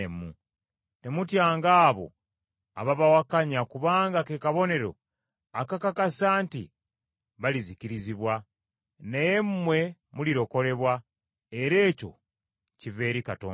Temutyanga abo ababawakanya kubanga ke kabonero akakakasa nti balizikirizibwa, naye mmwe mulirokolebwa, era ekyo kiva eri Katonda.